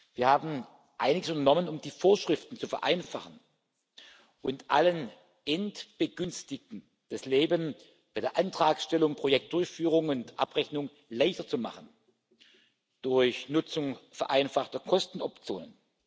Wir haben einiges unternommen, um die Vorschriften zu vereinfachen und allen Endbegünstigten das Leben bei der Antragstellung, Projektdurchführung und abrechnung leichter zu machen durch Nutzung vereinfachter Kostenoptionen.